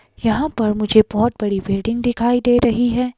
यहां पर मुझे बहोत बड़ी बिल्डिंग दिखाई दे रही है।